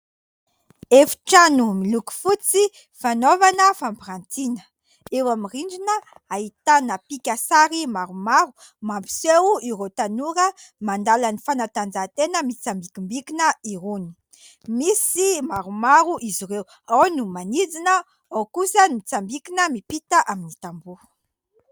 Efitrano miloko fotsy fanaovana fampirantina, eo amin'ny rindrina hahitana pikasary maromaro mampiseho ireo tanora mandala ny fanatanjahantena mitsambikimbikina irony, misy maromaro izy ireo ao no manidina ao kosa no mitsambikina miampita amin'ny tamboho.